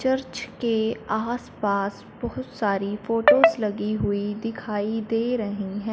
Church के आसपास बहुत सारी फोटोस लगी हुई दिखाई दे रही हैं।